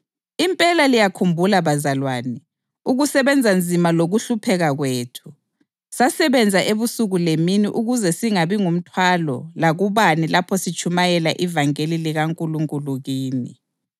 Impela liyakhumbula bazalwane, ukusebenza nzima lokuhlupheka kwethu; sasebenza ebusuku lemini ukuze singabi ngumthwalo lakubani lapho sitshumayela ivangeli likaNkulunkulu kini.